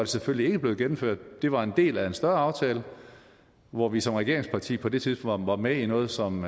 selvfølgelig ikke blevet gennemført det var en del af en større aftale hvor vi som regeringsparti på det tidspunkt var med i noget som